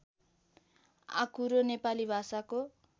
आँकुरो नेपाली भाषाको